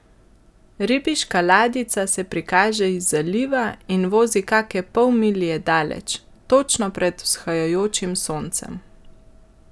Ribiška ladjica se prikaže iz zaliva in vozi kake pol milje daleč, točno pred vzhajajočim soncem.